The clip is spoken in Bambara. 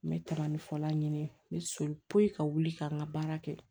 N bɛ taga ni fɔla ɲini n bɛ so poyi ka wuli ka n ka baara kɛ